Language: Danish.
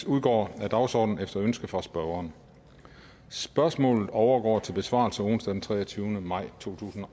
udgår af dagsordenen efter ønske fra spørgeren spørgsmålet overgår til besvarelse onsdag den treogtyvende maj totusinde